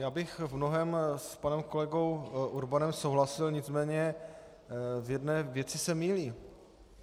Já bych v mnohém s panem kolegou Urbanem souhlasil, nicméně v jedné věci se mýlí.